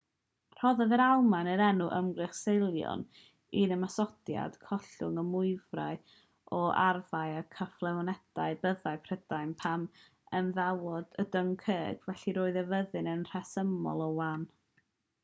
rhoddodd yr almaen yr enw ymgyrch sealion i'r ymosodiad collwyd y mwyafrif o arfau a chyflenwadau byddin prydain pan ymadawodd â dunkirk felly roedd y fyddin yn rhesymol o wan